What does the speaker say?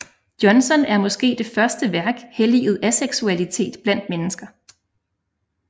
Johnson er måske det første værk helliget aseksualitet blandt mennesker